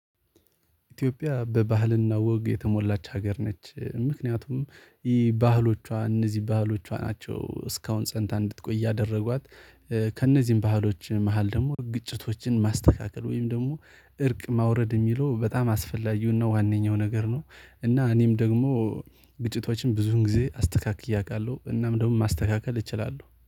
ኢትዮጵያ በባህልና ወግ የተሞላች ሀገር ነች ምክንያቱም ይህ ባህሎቿ እነዚህ ባህሎቿ ናቸው እስካሁን ጸንታ እንድትቆይ ያደረጓት። ከእነዚህም ባህሎች መሃል ደግሞ ግጭቶችን ማስተካከል ወይም ደግሞ እርቅ ማውረድ የሚለው በጣም አስፈላጊውና ዋነኛው ነገር ነው። እና እኔም ደግሞ ግጭቶችን ብዙውን ጊዜ አስተካክዬ አቃለሁ እናም ደግሞ ማስተካከል እችላለሁ